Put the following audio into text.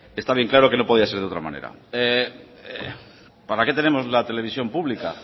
está bien claro que no podía ser de otra manera para qué tenemos la televisión pública